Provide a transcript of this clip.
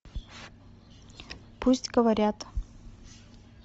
пусть говорят